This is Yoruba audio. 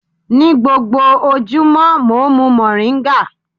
Ní gbogbo ojúmọ́, mò ń mu mòríńgà.